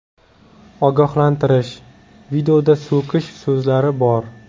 Ogohlantirish: videoda so‘kish so‘zlari bor.